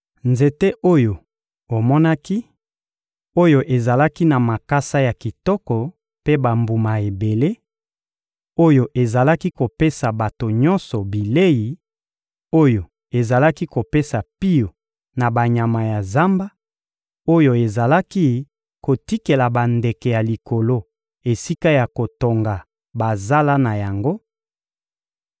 Nzete oyo omonaki, oyo ezalaki na makasa ya kitoko mpe bambuma ebele, oyo ezalaki kopesa bato nyonso bilei, oyo ezalaki kopesa pio na banyama ya zamba, oyo ezalaki kotikela bandeke ya likolo esika ya kotonga bazala na yango;